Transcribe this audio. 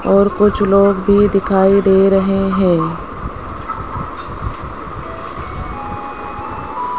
और कुछ लोग भी दिखाई दे रहे हैं।